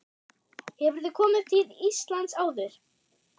Hefurðu komið til Íslands áður?